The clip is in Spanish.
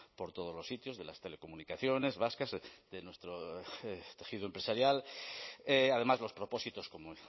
por todos los sitios de las telecomunicaciones vascas de nuestro tejido empresarial además los propósitos como